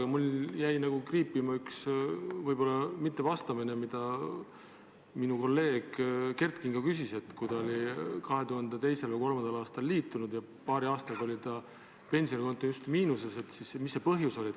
Aga mul jäi kriipima, et te ei andnud vastust, kui kolleeg Kert Kingo küsis põhjust, et kui ta oli 2002. või 2003. aastal liitunud teise sambaga, siis paari aastaga oli ta pensionikonto justkui miinuses.